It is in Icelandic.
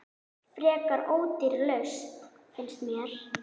Frekar ódýr lausn, finnst mér.